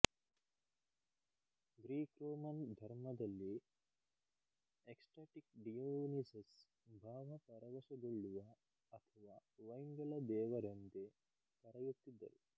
Greek Roman ಧರ್ಮದಲ್ಲಿ ecstatic Dionysus ಭಾವ ಪರವಶಗೊಳ್ಳುವ ಅಥವ ವೈನ್ ಗಳ ದೇವರೆಂದೆ ಕರೆಯುತ್ತಿದ್ದರು